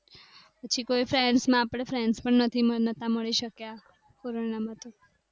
પછી કોઈ friends આપણે friend પણ નથી મનાતા મળી શક્યા.